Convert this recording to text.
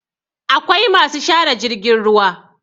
akwai masu share jirgin ruwa